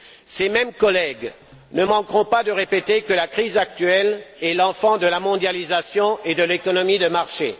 Ces mêmes collègues ne manqueront pas de répéter que la crise actuelle est l'enfant de la mondialisation et de l'économie de marché.